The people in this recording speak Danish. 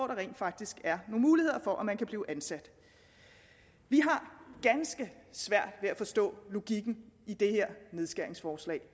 der rent faktisk er muligheder for at man kan blive ansat vi har ganske svært ved at forstå logikken i det her nedskæringsforslag